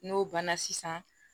N'o banna sisan